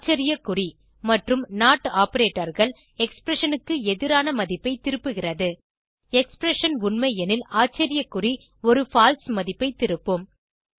ஆச்சரிய குறி மற்றும் நோட் operatorகள் எக்ஸ்பிரஷன் க்கு எதிரான மதிப்பை திருப்புகிறது எக்ஸ்பிரஷன் உண்மையெனில் ஆச்சரிய குறி ஒரு பால்சே மதிப்பை திருப்பும்